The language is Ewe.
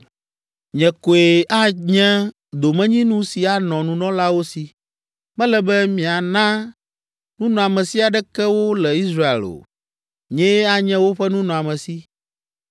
“ ‘Nye koe anye domenyinu si anɔ nunɔlawo si. Mele be miana nunɔamesi aɖeke wo le Israel o. Nyee anye woƒe nunɔamesi.